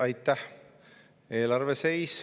Aitäh!